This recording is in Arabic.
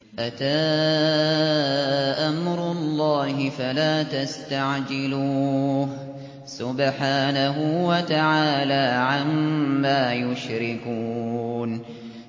أَتَىٰ أَمْرُ اللَّهِ فَلَا تَسْتَعْجِلُوهُ ۚ سُبْحَانَهُ وَتَعَالَىٰ عَمَّا يُشْرِكُونَ